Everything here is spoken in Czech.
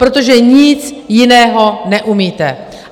Protože nic jiného neumíte!